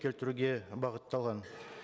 келтіруге бағытталған